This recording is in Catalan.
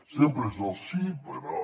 sempre és el sí però